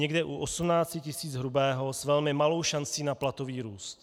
Někde u 18 tisíc hrubého s velmi malou šancí na platový růst.